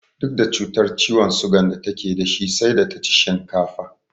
Duk da cutar ciwon sugan da take da shi sai da ta ci shinkafa